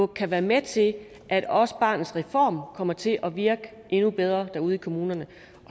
kan være med til at også barnets reform kommer til at virke bedre derude i kommunerne